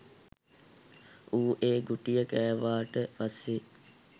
ඌ ඒ ගුටිය කෑවට පස්සේ.